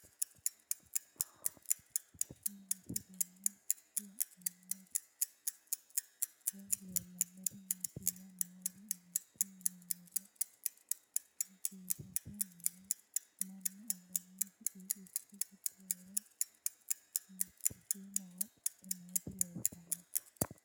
Tenne misilenni la'nanniri woy leellannori maattiya noori amadde yinummoro juussette mine mannu aganna fiqiiqqicho giddo woree mite shiimmawa xea nootti leelittanno